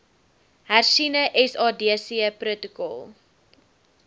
hersiene sadc protokol